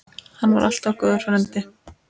Hann var alltaf góður frændi.